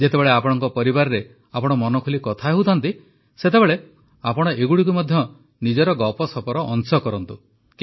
ଯେତେବେଳେ ଆପଣଙ୍କ ପରିବାରରେ ଆପଣ ମନଖୋଲି କଥା ହେଉଥାନ୍ତି ସେତେବେଳେ ଆପଣ ଏଗୁଡ଼ିକୁ ମଧ୍ୟ ନିଜର ଗପସପର ଅଂଶ କରନ୍ତୁ